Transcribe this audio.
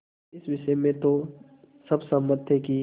इस विषय में तो सब सहमत थे कि